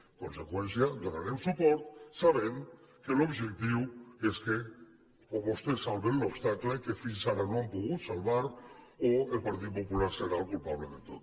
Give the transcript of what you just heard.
en conseqüència hi donarem suport sabent que l’objectiu és o que vostès salven l’obstacle que fins ara no han pogut salvar o que el partit popular serà el culpable de tot